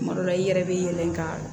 Kuma dɔ la i yɛrɛ bɛ yɛlɛn ka